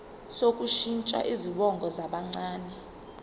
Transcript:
sokushintsha izibongo zabancane